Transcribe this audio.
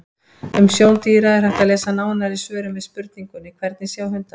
Um sjón dýra er hægt að lesa nánar í svörum við spurningunum: Hvernig sjá hundar?